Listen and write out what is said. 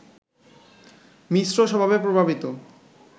মিশ্র স্বভাবে প্রভাবিত